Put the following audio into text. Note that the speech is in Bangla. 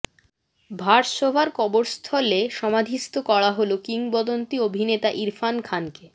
ভারসোভার কবরস্থলে সমাধিস্থ করা হল কিংবদন্তি অভিনেতা ইরফান খানকে